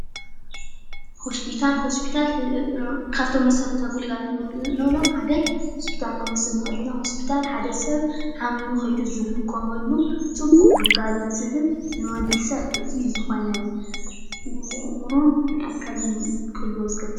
ሆስፖታል ሆስፒታል ካብቶም መሰረታዊ ግልጋሎት እንብሎም ሓደ ሆስፒታል ክንወስድ ንክእል ኢና፡፡ ሆስፒታል ሓደ ሰብ ሓሚሙ ከይዱ ዝሕከመሉ ፅቡቅ ግልጋሎት ዝህብ ንወዲሰብ ጥዕና ክህልዎን ዝገብር እዩ፡፡